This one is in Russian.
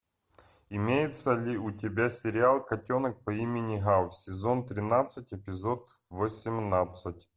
имеется ли у тебя сериал котенок по имени гав сезон тринадцать эпизод восемнадцать